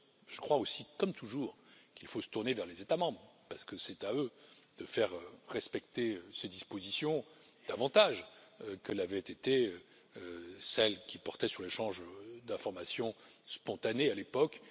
Je crois aussi, comme toujours, qu'il faut se tourner vers les États membres parce que c'est à eux de faire respecter ces dispositions davantage que ne l'avaient été celles qui portaient sur l'échange d'informations spontanées à l'époque.